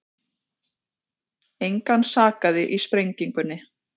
Engan sakaði í sprengingunni